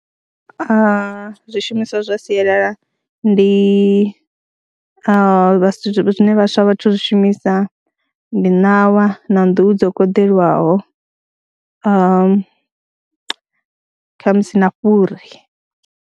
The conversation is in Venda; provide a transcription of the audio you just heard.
Zwishumiswa zwa sialala ndi zwine vhaswa a vha thu zwi shumisa ndi ṋawa na nḓuhu dzo koḓelwaho kha musi na fhuri.